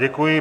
Děkuji.